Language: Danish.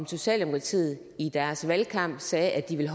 socialdemokratiet i deres valgkamp sagde at de ville